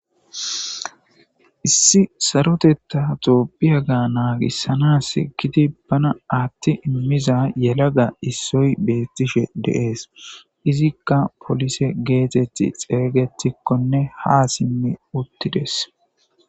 Issi sarotetta tophiya ga naagissanas giti bana atti immiza yelaga issoy beettishe deees izikka polise geetetti xeeygetikkonne ha simmi uttides.